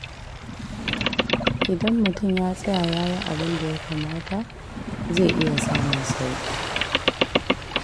Idan mutum ya tsaya ya yi abin da ya kamata, zai iya samun sauƙi.